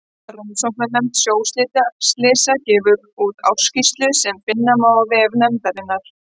Rannsóknarnefnd sjóslysa gefur úr ársskýrslur sem finna má á vef nefndarinnar.